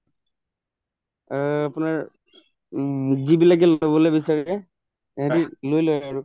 অ আপোনাৰ উম যিবিলাকে লবলৈ বিচাৰে সিহঁতে লৈ লই আৰু